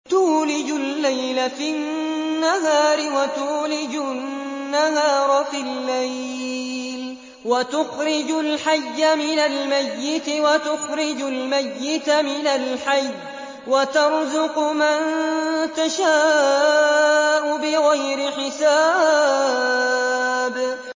تُولِجُ اللَّيْلَ فِي النَّهَارِ وَتُولِجُ النَّهَارَ فِي اللَّيْلِ ۖ وَتُخْرِجُ الْحَيَّ مِنَ الْمَيِّتِ وَتُخْرِجُ الْمَيِّتَ مِنَ الْحَيِّ ۖ وَتَرْزُقُ مَن تَشَاءُ بِغَيْرِ حِسَابٍ